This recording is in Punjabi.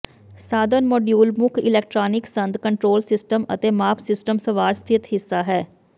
ਸਾਧਨ ਮੋਡੀਊਲ ਮੁੱਖ ਇਲੈਕਟ੍ਰਾਨਿਕ ਸੰਦ ਕੰਟਰੋਲ ਸਿਸਟਮ ਅਤੇ ਮਾਪ ਸਿਸਟਮ ਸਵਾਰ ਸਥਿਤ ਹਿੱਸਾ ਹੈ